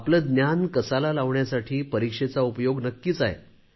आपले ज्ञान पणाला लावण्यासाठी परीक्षेचा उपयोग नक्कीच आहे